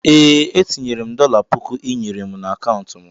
Ee etinyere mụ dola pụkụ ịnyere mụ na akauntu mụ.